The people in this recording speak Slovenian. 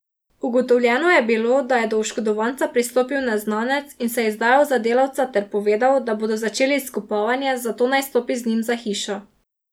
Ugotovljeno je bilo, da je do oškodovanca pristopil neznanec in se izdajal za delavca ter povedal, da bodo začeli izkopavanje, zato naj stopi z njim za hišo.